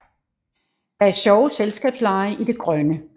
Der er sjove selskabslege i det grønne